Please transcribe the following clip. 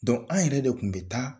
an yɛrɛ de kun bɛ taa.